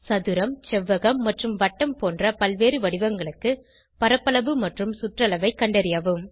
சதுரம் செவ்வகம் மற்றும் வட்டம் போன்ற பல்வேறு வடிவங்களுக்கு பரப்பளவு மற்றும் சுற்றளவை கண்டறியவும்